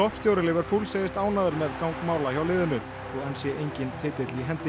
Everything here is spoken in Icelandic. stjóri Liverpool segist ánægður með gang mála hjá liðinu þó enn sé enginn titill í hendi